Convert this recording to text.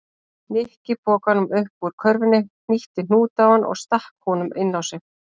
Nikki pokanum upp úr körfunni, hnýtti hnút á hann og stakk honum inn á sig.